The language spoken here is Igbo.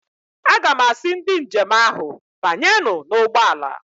Aga m asị ndị njem ahụ, banyernụ n'ụgbọala!